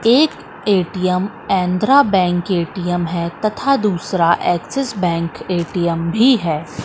एक ATM Andhra bank ATM है तथा दूसरा एक्सिस बैंक ए_टी_एम भी है।